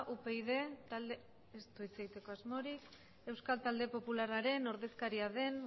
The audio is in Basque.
upyd talde ez du hitz egiteko asmorik euskal talde popularraren ordezkaria den